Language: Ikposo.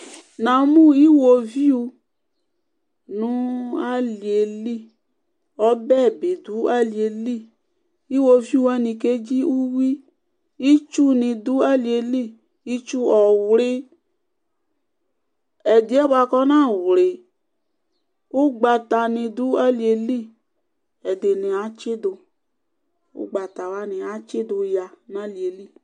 Namʋ iwoviu nʋ aliyeli ɔbɛ bidʋ aliyeli iwoviu wani kzdzi ʋwi itsu ni dʋ aliyeli itu ɔwli ɛdiɛ bʋakʋ ɔnawli ʋgbatani dʋ aliyeli ɛdini atsidʋ ʋgbata wani atsidʋ nʋ aliyeli